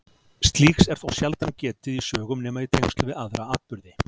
Slíks er þó sjaldan getið í sögum nema í tengslum við aðra atburði.